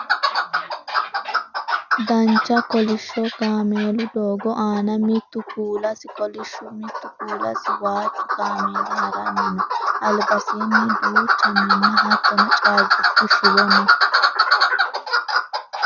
dancha kolishsho kameelu doogo aana mitu kuulasi kolishshu mittu kuulasi waajju kameeeli haranni no albansaanni duucha minna hattono caabbichu shiwo no